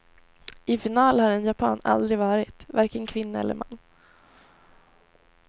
I final har en japan aldrig varit, varken kvinna eller man.